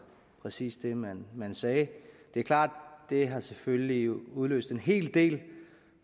præcis det man man sagde det er klart at det selvfølgelig har udløst en hel del